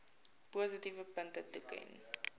positiewe punte toeken